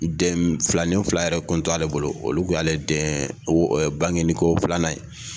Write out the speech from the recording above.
Den filani fila yɛrɛ kun t'ale bolo olu kun y'ale den bangeni ko filanan ye.